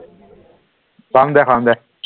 পাম দে পাম দে